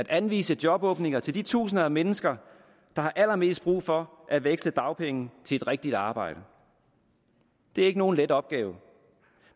anvise jobåbninger til de tusinder af mennesker der har allermest brug for at veksle dagpenge til et rigtigt arbejde det er ikke nogen let opgave